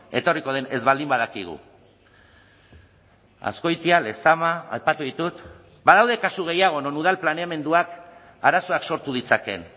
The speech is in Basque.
etorriko den ez baldin badakigu azkoitia lezama aipatu ditut badaude kasu gehiago non udal planeamenduak arazoak sortu ditzakeen